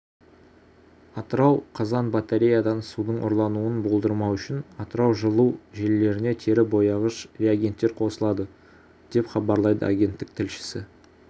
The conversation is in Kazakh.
атырау қазан батареядан судың ұрлануын болдырмау үшін атырау жылу желілеріне тері бояғыш реагенттер қосылады деп хабарлайды агенттік тілшісі